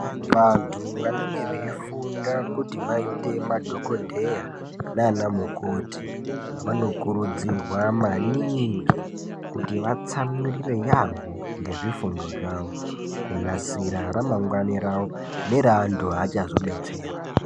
Vantu vanenge veifunda kuti vaite madhogodheya nanamukoti vanokurudzirwa maningi kuti vatsamwirire yaamho ngezvifundo zvavo kunasira ramangwana ravo neraantu aachazodetsera.